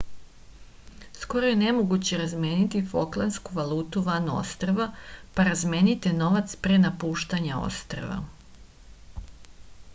skoro je nemoguće razmeniti foklandsku valutu van ostrva pa razmenite novac pre napuštanja ostrva